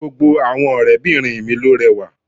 Gbogbo àwọn ọ̀rẹ́ bìnrin mi ló rẹwà